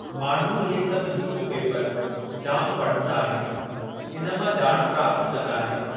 माण्हू इहे सभु न्यूज़ पेपर जाम पढ़ंदा आहिनि इन मां ॼाण प्राप्तु कंदा आहिनि।